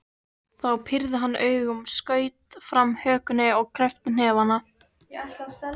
Þá pírði hann augun, skaut fram hökunni og kreppti hnefana.